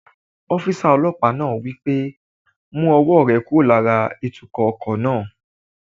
Ọ́físà ọlọ́pàá náà wí pé "mú ọwọ́ rẹ kúrò lára ìtukọ̀ ọkọ̀ náà!"